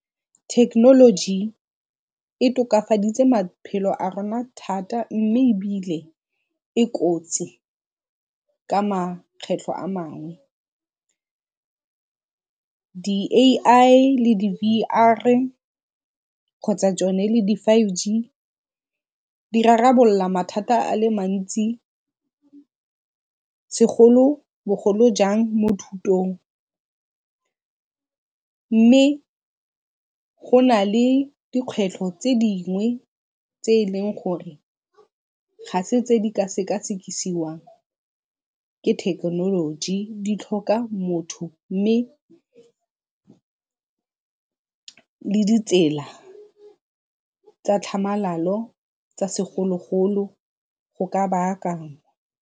Thekenoloji e tokafaditse maphelo a rona thata mme ebile e kotsi ka makgetlho a mangwe. Di-A_I le di-V_R kgotsa tsone le di-five G di rarabolola mathata a le mantsi segolo bogolo jang mo thutong mme go na le dikgwetlho tse dingwe tse e leng gore ga se tse di ka ke thekenoloji, di tlhoka motho mme le ditsela tsa tlhamalalo tsa segolo-golo go ka baakangwa.